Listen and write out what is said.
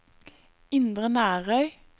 Indre Nærøy